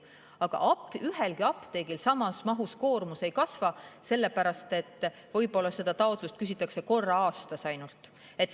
Aga ühelgi apteegil koormus samas mahus ei kasva, sest võib-olla seda küsitakse ainult korra aastas.